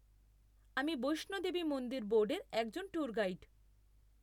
আমি বৈষ্ণো দেবী মন্দির বোর্ডের একজন ট্যুর গাইড।